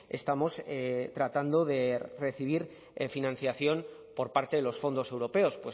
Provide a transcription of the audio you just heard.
estamos tratando de recibir financiación por parte de los fondos europeos